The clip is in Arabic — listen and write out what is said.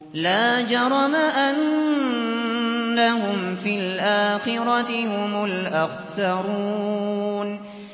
لَا جَرَمَ أَنَّهُمْ فِي الْآخِرَةِ هُمُ الْأَخْسَرُونَ